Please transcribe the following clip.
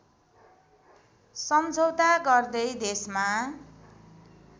सम्झौता गर्दै देशमा